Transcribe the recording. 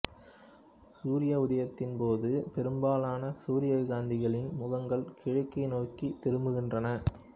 சூரிய உதயத்தின்போது பெரும்பாலான சூரியகாந்திகளின் முகங்கள் கிழக்கை நோக்கித் திரும்புகின்றன